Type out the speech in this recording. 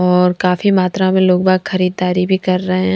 और काफी मात्रा में लोग-बाग खरीदारी भी कर रहे--